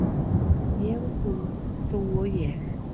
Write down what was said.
Ég og þú, þú og ég.